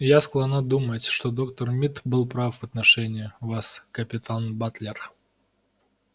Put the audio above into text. я склонна думать что доктор мид был прав в отношении вас капитан батлер